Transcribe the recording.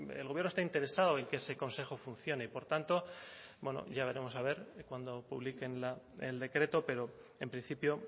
el gobierno está interesado en que ese consejo funcione y por tanto bueno ya veremos a ver cuando publiquen el decreto pero en principio